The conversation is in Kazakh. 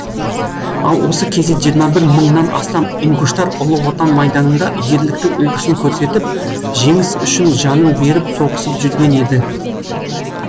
ал осы кезде жиырма бір мыңнан астам ингуштар ұлы отан майданында ерліктің үлгісін көрсетіп жеңіс үшін жанын беріп соғысып жүрген еді